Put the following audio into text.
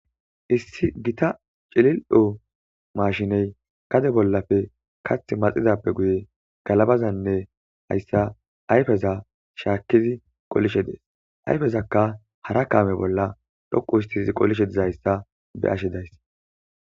Issi gita cilil7o mashine gade bollappe kaththi maxidaape guye galabazanne hayssa ayfeza shaakizi qolishe des. Ayfezakka hara kaame bolla dhoqqustidi qolishe dizayssa be7ashe days.